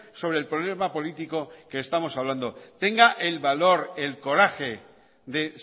sobre el problema político que estamos hablando tenga el valor y el coraje de